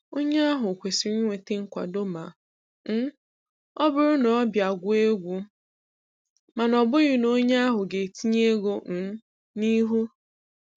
Onye ahụ kwesịrị inweta nkwado ma um ọ bụrụ na ọ bịa gụọ egwu, mana ọ bụghị na onye ahụ ga-etinye ego um n'ihu